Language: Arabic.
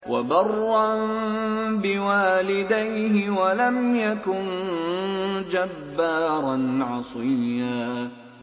وَبَرًّا بِوَالِدَيْهِ وَلَمْ يَكُن جَبَّارًا عَصِيًّا